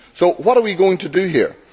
So what are we going to do here?